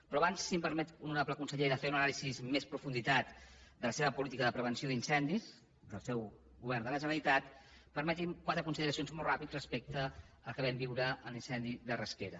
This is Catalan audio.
però abans si em permet honorable conseller de fer una anàlisi amb més profunditat de la seva política de prevenció d’incendis del seu govern de la generalitat permeti’m quatre consideracions molt ràpides respecte al que vam viure en l’incendi de rasquera